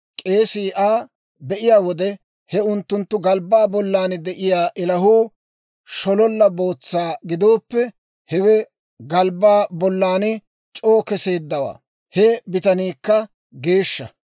k'eesii Aa; be'iyaa wode he unttunttu galbbaa bollan de'iyaa ilahuu shololla bootsa gidooppe, hewe galbbaa bollan c'oo keseeddawaa; he bitaniikka geeshsha.